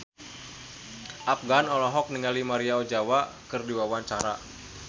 Afgan olohok ningali Maria Ozawa keur diwawancara